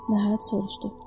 Nəhayət soruşdu.